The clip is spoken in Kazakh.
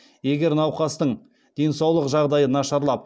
егер науқастың денсаулық жағдайы нашарлап